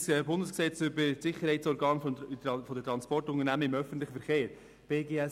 Es gibt ein Bundesgesetz über die Sicherheitsorgane der Transportunternehmen im öffentlichen Verkehr (BGST).